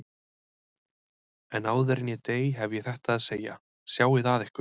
En áður en ég dey hef ég þetta að segja: Sjáið að ykkur.